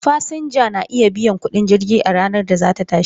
Fasinja na iya biyan kudin jirgi a ranar da za ta tashi.